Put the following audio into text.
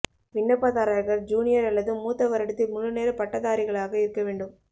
விண்ணப்பதாரர்கள் ஜூனியர் அல்லது மூத்த வருடத்தில் முழுநேர பட்டதாரிகளாக இருக்க வேண்டும்